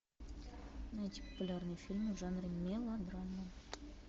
найти популярные фильмы в жанре мелодрама